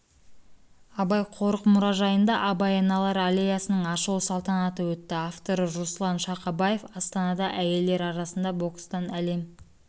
абай қорық-мұражайында абай аналары аллеясының ашылу салтанаты өтті авторы руслан шақабаев астанада әйелдер арасында бокстан әлем